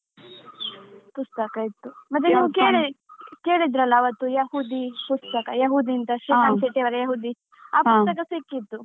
ಪುಸ್ತಕ ಇತ್ತು. ಮತ್ತೆ ನಾವು ಕೇಳಿ ಕೇಳಿದ್ರಲ್ಲ ಯಹೂದಿ ಪುಸ್ತಕ, ಯಹೂದಿ ಅಂತ ಶ್ರೀಕಾಂತ್ ಶೆಟ್ಟಿ ಅವರ ಯಹೂದಿ ಆ ಪುಸ್ತಕ ಸಿಕ್ಕಿತ್ತು.